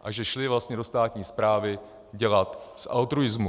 a že šli vlastně do státní správy dělat z altruismu.